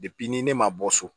ni ne ma bɔ so